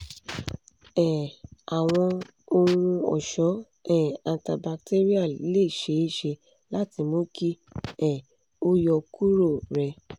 um awọn ohun-ọṣọ um antibacterial le ṣee ṣe lati mu ki um o yọkuro rẹ